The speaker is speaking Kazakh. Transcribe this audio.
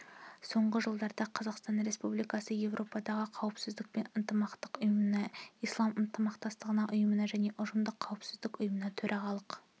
соңғы жылда қазақстан республикасы еуропадағы қауіпсіздік пен ынтымақтастық ұйымына ислам ынтымақтастығы ұйымына және ұжымдық қауіпсіздік ұйымына төрағалық